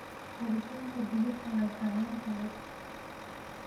Koritaanka digirta waa sahlan tahay.